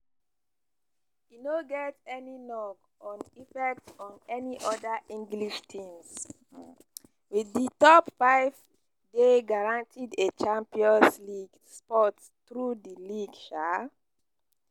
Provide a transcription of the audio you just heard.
e no get any knock-on effect on any oda english teams wit di top five dey guaranteed a champions league spot through di league. um